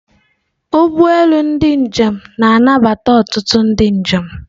Ụgbọ elu ndị njem na-anabata ọtụtụ ndị njem.